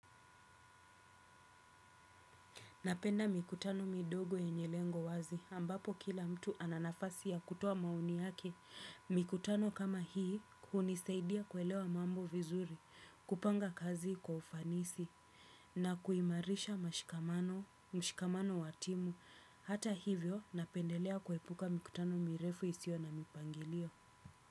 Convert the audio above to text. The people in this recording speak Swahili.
Napenda mikutano midogo yenye lengo wazi ambapo kila mtu ana nafasi ya kutoa maoni yake. Mikutano kama hii hunisaidia kuelewa mambo vizuri, kupanga kazi kwa ufanisi na kuimarisha mashikamano wa timu. Hata hivyo napendelea kuepuka mikutano mirefu isiyo na mipangilio.